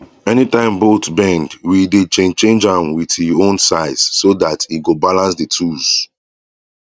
anytime bolt bend we dey change change am with e own size so dat e go balance d tools